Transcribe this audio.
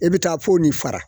E bɛ taa nin fara